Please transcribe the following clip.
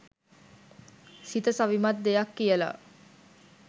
සිත සවිමත් දෙයක් කියලා